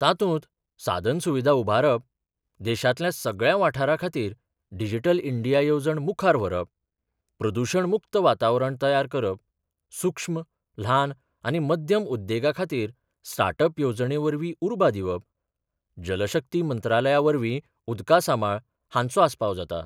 तातुंत सादनसुविधा उभारप, देशांतल्या सगळ्या वाठारांखातीर डिजीटल इंडिया येवजण मुखार व्हरप, प्रदूषण मुक्त वातावरण तयार करप, सुक्ष्म, ल्हान आनी मध्यम उद्देगाखातीर स्टाटअप येवजणेवरवी उर्बा दिवप, जलशक्ती मंत्रालयावरवी उदकासामाळ हांचो आस्पाव जाता.